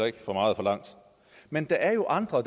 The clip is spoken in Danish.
ikke for meget forlangt men der er andre